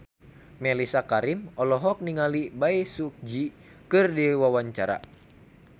Mellisa Karim olohok ningali Bae Su Ji keur diwawancara